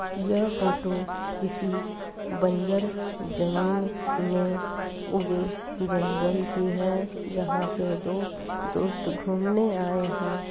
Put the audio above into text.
यह फोटो किसी बंजर जमीन में उगे जंगल की है जहां पर दो दोस्त घूमने आए हैं।